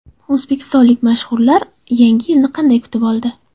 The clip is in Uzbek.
O‘zbekistonlik mashhurlar Yangi yilni qanday kutib oldi?